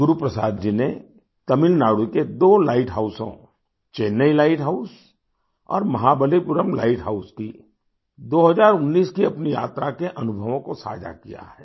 गुरु प्रसाद जी ने तमिलनाडु के दो लाइट हाउसोंचेन्नई लाइट हाउस और महाबलीपुरम लाइट हाउस की 2019 की अपनी यात्रा के अनुभवों को साझा किया है